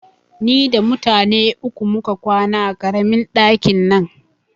Ni da mutane uku muka kwana a ƙaramin ɗakin nan